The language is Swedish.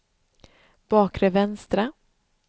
bakre vänstra